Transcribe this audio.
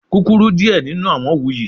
Kukuru diẹ ninu awọn wuyi